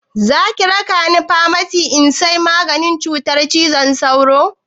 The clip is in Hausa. Zaki raka ni famasi in sai maganin cutar cizon sauro?